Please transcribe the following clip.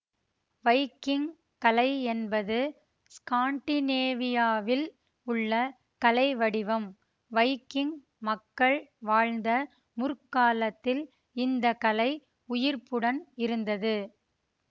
Viking கலை என்பது ஸ்காண்டினேவியாவில் உள்ள கலை வடிவம் வைக்கிங் மக்கள் வாழ்ந்த முற்காலத்தில் இந்த கலை உயிர்ப்புடன் இருந்தது